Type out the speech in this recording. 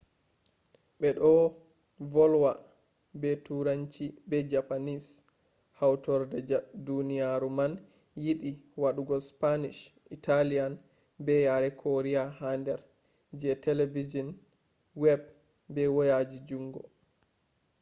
be do volwa be turanci be japanese hautorde duniyaru man yidi wadugo spanish italian be yare korea ha der je telebijin web be wayaji jungo